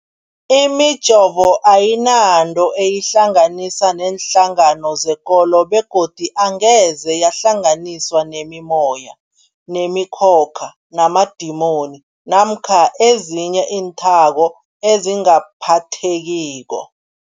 Imijovo ayinanto eyihlanganisa neenhlangano zekolo begodu angeze yahlanganiswa nemimoya, nemi khokha, namadimoni namkha ezinye iinthako ezingaphathekiko.